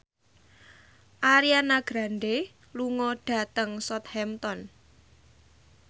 Ariana Grande lunga dhateng Southampton